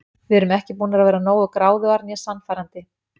Við erum ekki búnar að vera nógu gráðugar né sannfærandi.